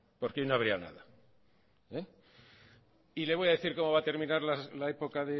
porque hoy no habría nada y le voy a decir cómo va a terminar la época